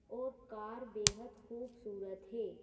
और कार बेहद खूबसूरत है।